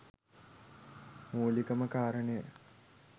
මුලිකම කාරණය